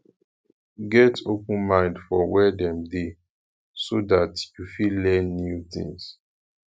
get open mind for where dem de so that you fit learn new things